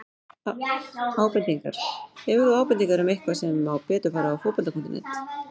Ábendingar: Hefur þú ábendingar um eitthvað sem má betur fara á Fótbolta.net?